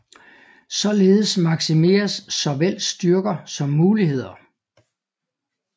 Således maksimeres såvel styrker som muligheder